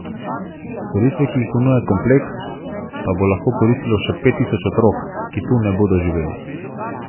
Storitve, ki jih ponuja kompleks pa bo lahko koristilo še pet tisoč otrok, ki tu ne bodo živeli.